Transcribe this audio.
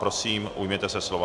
Prosím, ujměte se slova.